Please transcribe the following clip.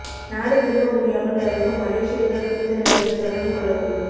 நாடு திரும்ப முடியாமல் தவிக்கும் மலேசியர்கள் தூதரகத்தை தொடர்பு கொள்ளவும்